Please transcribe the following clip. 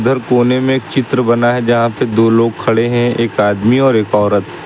इधर कोने में एक चित्र बना है जहां पे दो लोग खड़े हैं एक आदमी और एक औरत।